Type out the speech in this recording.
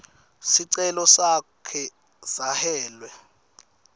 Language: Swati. sicelo sakhe sashwele